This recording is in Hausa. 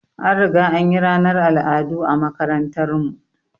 An riga anyi ranar al'adu a makarantar mu